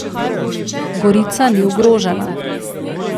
Gorica ni ogrožena.